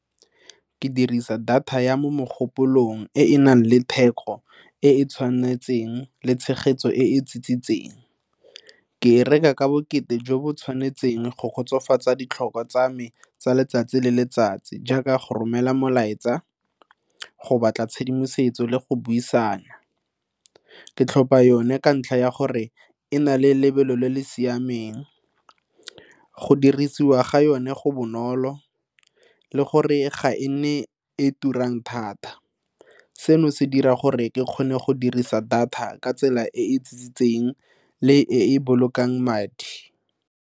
Ke dirisa data ya mo mogopolong e e nang le theko e e tshwanetseng le tshegetso e tsitsintse teng ke e reka ka bokete jo bo tshwanetseng go kgotsofatsa ditlhokwa tsa me tsa letsatsi le letsatsi jaaka go romela molaetsa go batla tshedimosetso le go buisana. Ke tlhopha yone ka ntlha ya gore e na le lebelo le le siameng go dirisiwa ga yone go bonolo le gore ga e nne e turang thata. Seno se dira gore ke kgone go dirisa data ka tsela e e tlisitseng le e e bolokang madi.